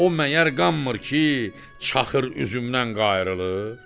O məyər qanmır ki, çaxır üzümdən qayrılır?